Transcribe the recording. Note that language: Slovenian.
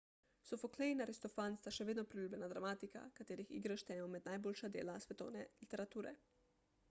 sofoklej in aristofan sta še vedno priljubljena dramatika katerih igre štejemo med najboljša dela svetovne literature